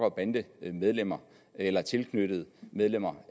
og bandemedlemmer eller tilknyttede medlemmer